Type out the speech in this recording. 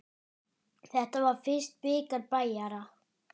Þetta var fyrsti bikar Bæjara.